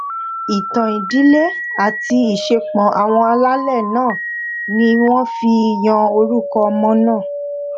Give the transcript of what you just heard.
ìtàn ìdílé àti ìṣepọ àwọn alálẹ náà ni wọn fi yan orúkọ ọmọ náà